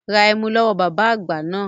Ra ẹmu lọ́wọ́ bàbá àgbà náà